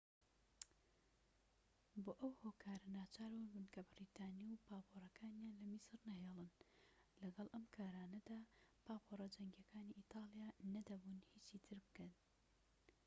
بۆ ئەو هۆکارە ناچاربوون بنکە بەریتانی و پاپۆرەکانیان لە میسر نەهێڵن لەگەڵ ئەم کارانەدا پاپۆرە جەنگیەکانی ئیتالیا نەدەبوو هیچی تر بکەن